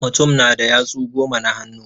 Mutum na da yatsu goma na hannu.